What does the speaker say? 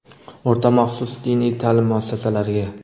O‘rta maxsus diniy taʼlim muassasalariga:.